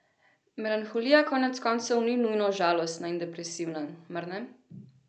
Melanholija koneckoncev ni nujno žalostna in depresivna, mar ne?